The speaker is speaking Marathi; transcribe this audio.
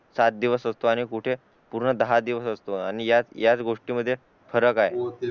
साथ दिवस होतो आणि कुठे पूर्ण दहा दिवस असतो आणि ह्याच गोष्टी मध्ये फरक